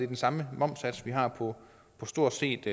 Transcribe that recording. den samme momssats vi har på stort set